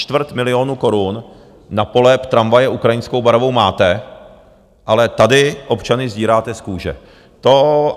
Čtvrt milionu korun na polep tramvaje ukrajinskou barvou máte, ale tady občany sdíráte z kůže.